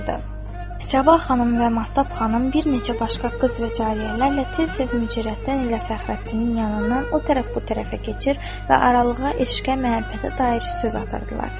Sabah xanım və Mahtab xanım bir neçə başqa qız və cariyələrlə tez-tez Mücərrəttin ilə Fəxrəddinin yanından o tərəf-bu tərəfə keçir və aralığa eşqə, məhəbbətə dair söz atırdılar.